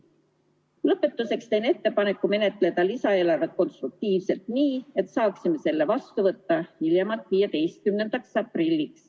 Lõpetuseks teen ettepaneku menetleda lisaeelarvet konstruktiivselt nii, et saaksime selle vastu võtta hiljemalt 15. aprillil.